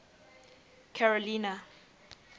carolina